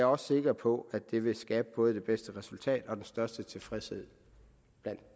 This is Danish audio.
også sikker på at det vil skabe både det bedste resultat og den største tilfredshed